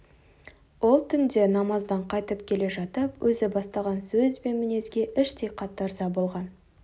ол түнде намаздан қайтып келе жатып өзі бастаған сөз бен мінезге іштей қатты ырза болған